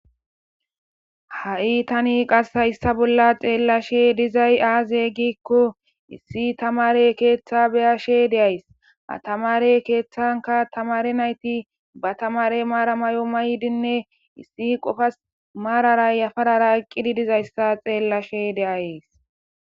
Ha"i tani hayissa bolla taani xelashshe dizay aze gizayissa gidikko Issi tamare keeththa beyashshe dayiss ha tamare keeththan tamare nayti tamare maara mayo mayidi dizayissa beyayis